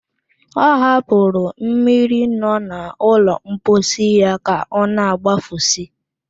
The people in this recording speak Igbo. Ọ hapụrụ mmiri nọ n'ụlọ mposi ya ka ọna-agbafusi